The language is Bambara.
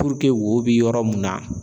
wo bɛ yɔrɔ mun na